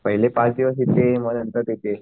पहिले पाच दिवस इथे मग नंतर तिथे.